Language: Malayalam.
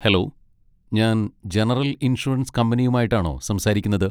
ഹലോ, ഞാൻ ജനറൽ ഇൻഷുറൻസ് കമ്പനിയുമായിട്ടാണോ സംസാരിക്കുന്നത്?